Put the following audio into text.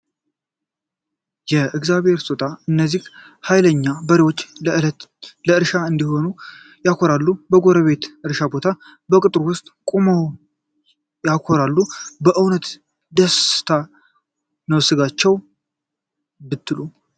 የእግዚአብሔር ስጦታ! እነዚህ ኃይለኛ በሬዎች ለዕርሻ እንዴት ያኮራሉ! በጎረቤት እርሻ ቦታ በቅጥሩ ውስጥ ቆመው ያኮራሉ! በእውነት ደስታ ነው ስጋቸውስ ብትሉ !